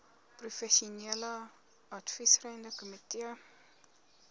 professionele adviserende komitee